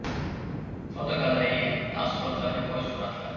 Fotogalereya: Tassurotlarga boy suratlar.